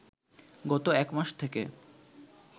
গত এক মাস থেকে